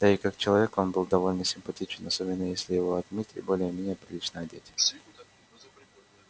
да и как человек он был довольно симпатичен особенно если его отмыть и более-менее прилично одеть